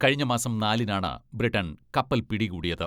കഴിഞ്ഞ മാസം നാലിനാണ് ബ്രിട്ടൺ കപ്പൽ പിടികൂടിയത്.